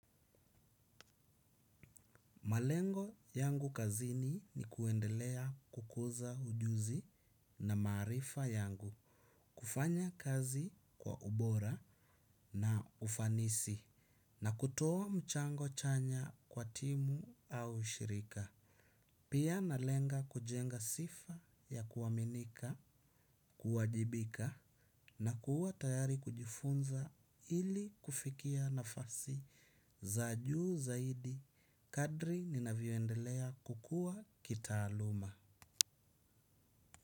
Malengo yangu kazini ni kuendelea kukuza ujuzi na maarifa yangu, kufanya kazi kwa ubora na ufanisi, na kutoa mchango chanya kwa timu au shirika. Pia nalenga kujenga sifa ya kuaminika, kuwajibika, na kuwa tayari kujifunza ili kufikia nafasi za juu zaidi. Kadri ninavyoendelea kukua kitaaluma.